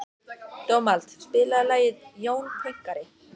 Dómald, spilaðu lagið „Jón Pönkari“.